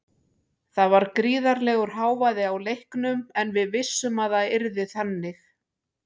Það var gríðarlegur hávaði á leiknum en við vissum að það yrði þannig.